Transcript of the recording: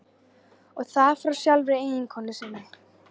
Og það frá sjálfri eiginkonu sinni.